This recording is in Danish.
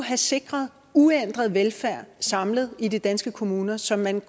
have sikret uændret velfærd samlet i de danske kommuner så man